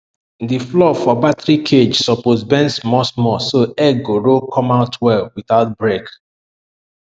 di floor for battery cage suppose bend smallsmall so egg go roll come out well without break